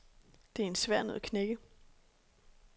Det er en svær nød at knække.